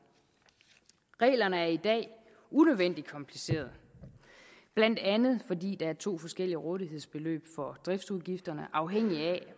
reglerne er i dag unødvendigt komplicerede blandt andet fordi der er to forskellige rådighedsbeløb for driftsudgifterne afhængigt af